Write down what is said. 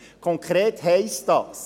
Konkret heisst dies: